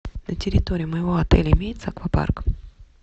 на территории моего отеля имеется аквапарк